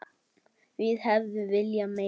Við hefðum viljað meira.